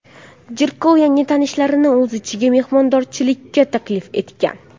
Jirkov yangi tanishlarini o‘z uyiga mehmondorchilikka taklif etgan.